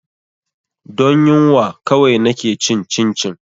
Don yunwa kawai na ke cin cincin